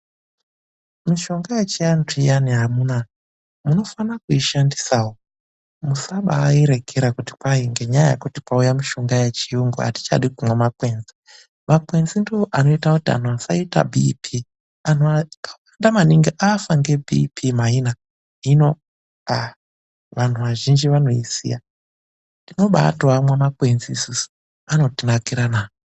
Mishonga yechianhu amuna munofana kuishandisawo. Musabaairekera ngendaa yekuti kwauya mishonga yechiyungu, atichadi kumwa makwenzi. Makwenzi ndooanoita kuti antu asaita bhiipi, anhu akawanda maningi afa ngebhiipi maina, hino vanhu vazhinji anoisiya. Tinobaatoamwa makwenzi isusu, anotinakira na.